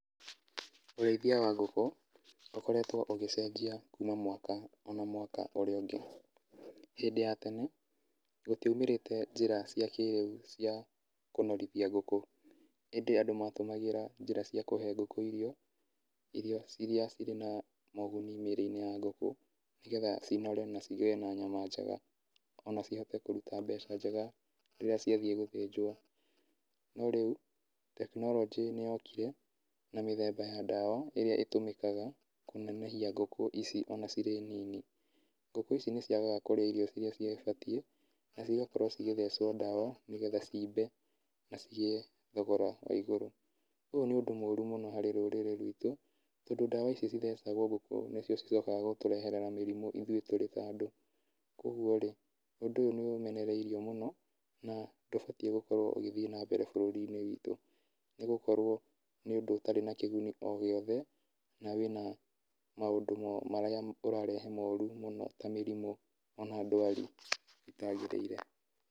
Ũrĩithia wa ngũkũ ũkoretwo ũgĩcenjia na mwaka ona mwaka ũrĩa ũngĩ, hĩndĩ ya tene gũtiaimĩrĩte njĩra cia kĩrĩu cia kũnorothia ngũkũ ĩndĩ andũ matũmagĩta njĩra cia kũhe ngũkũ irio, iria cirĩ na moguni mĩrĩinĩ ya ngũkũ nĩgetha cinore na cigĩe na nyama njega, ona cihote kũruta mbeca njega rĩrĩa ciathiĩ gũthĩnjwo, no rĩu tekinoronjĩ nĩyokire na mĩthemba ya dawa ĩrĩa ĩtũmĩkaga kũnenehia ngũkũ ici ona cirĩ nini, ngũkũ ici nĩ ciagaga kũrĩa irio cibatie na cigakorwo cigĩthechwo dawa nĩgetha cimbe na cigĩe thogora wa igũrũ, ũyũ nĩ ũndũ mũru mũno harĩ rũrĩrĩ ruitũ, tondũ dawa icio cithechagwo ngũkũ nĩ cio cicokaga gũtũrehera mĩrimũ ithuĩ tũrĩ ta andũ, kwoguo rĩ ũndũ ũyũ nĩ ũmenereirio mũno na ndũbatie gũkorwo ũgĩthiĩ na mbere bũrũri wĩtũ, nĩ gũkorwo nĩ ũndũ ũtarĩ na kĩguni o gĩothe na wĩna maũndũ marĩa ũrarehe moru mũno, ta mĩrimũ ona ndwari itagĩrĩire.